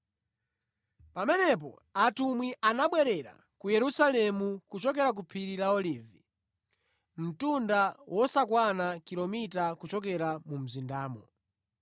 Pamenepo atumwi anabwerera ku Yerusalemu kuchokera ku phiri la Olivi, mtunda wosakwana kilomita kuchokera mu mzindamo.